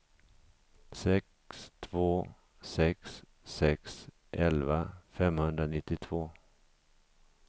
sex två sex sex elva femhundranittiotvå